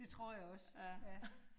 Det tror jeg også. ja